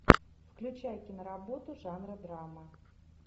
включай киноработу жанра драма